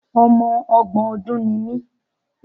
Ọmọ ọgbọ̀n ọdùn ni mí.